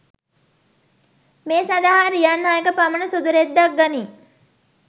මේ සඳහා රියන් හයක පමණ සුදුරෙද්දක් ගනී